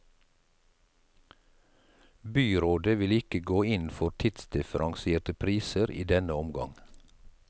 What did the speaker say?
Byrådet vil ikke gå inn for tidsdifferensierte priser i denne omgang.